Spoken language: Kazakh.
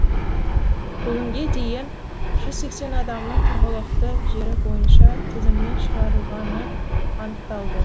бүгінге дейін жүзсексен адамның тұрғылықты жері бойынша тізімнен шығарылғаны анықталды